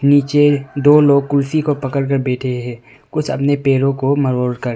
नीचे दो लोग कुर्सी को पकड़ कर बैठे हैं कुछ अपने पैरों को मरोड़ कर।